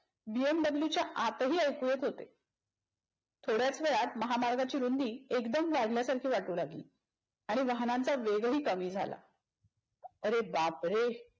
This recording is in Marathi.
BMW च्या आतही ऐकू येत होते. थोड्याच वेळात महामार्गाची रुंदी एकदम लाजल्यासारखी वाटू लागली आणि वाहनांचा वेगही कमी झाला. अरे बापरे